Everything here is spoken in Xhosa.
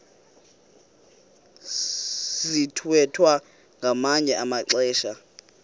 sithwethwa ngamanye amaxesha